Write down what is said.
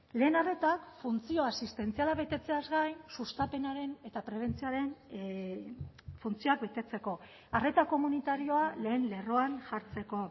lehen arreta funtzio asistentziala betetzeaz gain sustapenaren eta prebentzioaren funtzioak betetzeko arreta komunitarioa lehen lerroan jartzeko